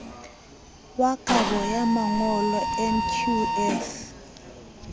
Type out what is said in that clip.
wa kabo ya mangolo nqf